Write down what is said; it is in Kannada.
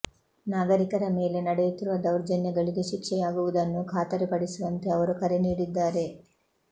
ನಾಗರಿಕರ ಮೇಲೆ ನಡೆಯುತ್ತಿರುವ ದೌರ್ಜನ್ಯಗಳಿಗೆ ಶಿಕ್ಷೆಯಾಗುವುದನ್ನು ಖಾತರಿಪಡಿಸುವಂತೆ ಅವರು ಕರೆ ನೀಡಿದ್ದಾರೆ